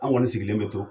An kɔni sigilen bɛ to